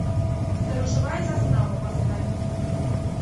сторожевая застава поставь